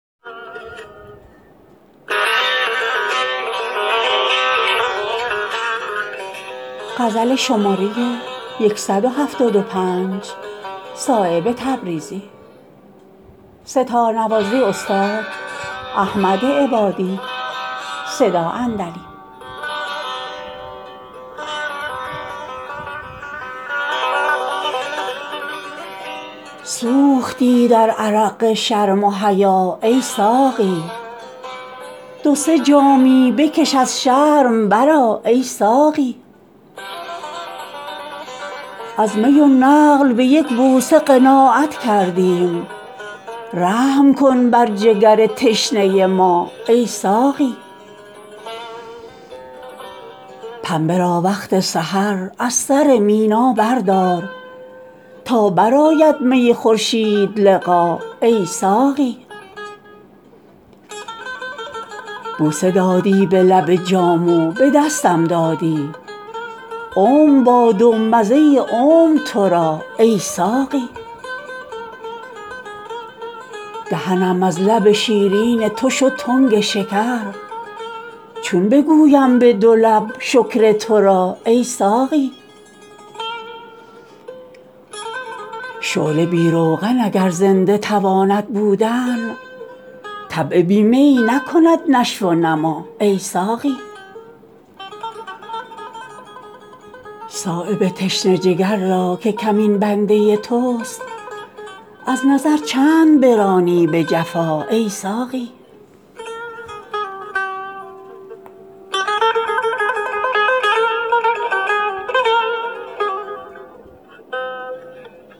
سوختی در عرق شرم و حیا ای ساقی دو سه جامی بکش از شرم برآ ای ساقی از می و نقل به یک بوسه قناعت کردیم رحم کن بر جگر تشنه ما ای ساقی چند چون شمع ز فانوس حصاری باشی بی تکلف بگشا بند قبا ای ساقی پنبه را وقت سحر از سر مینا بردار تا برآید می خورشیدلقا ای ساقی بوسه دادی به لب جام و به دستم دادی عمر باد و مزه عمر ترا ای ساقی شده ام برگ خزان دیده ای از رنج خمار در قدح ریز می لعل قبا ای ساقی دهنم از لب شیرین تو شد تنگ شکر چون بگویم به دو لب شکر ترا ای ساقی شعله بی روغن اگر زنده تواند بودن طبع بی می نکند نشو و نما ای ساقی زحمت رنگ حنا بر ید بیضا مپسند می کند پرتو می کار حنا ای ساقی خضر اگر بوی ز کیفیت ساغر ببرد آب حیوان بدهد روی نما ای ساقی قطره ای گر بچکد از می خونگرم به خاک روید از شوره زمین مهرگیا ای ساقی صایب تشنه جگر را که کمین بنده توست از نظر چند برانی به جفا ای ساقی